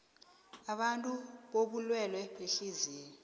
abantu bobulwele behliziyo